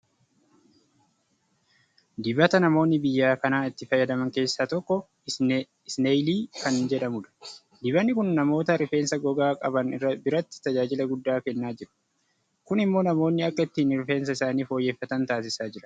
Dibata namoonni biyya kanaa itti fayyadaman keessaa tokko Isneeyilii kan jedhamudha. Dibanni kun namoota rifeensa gogaa qaban biratti tajaajila guddaa kennaa jiru. Kun immoo namoonni akka ittiin Rifeensa isaanii fooyyeffatan taasisaa jira.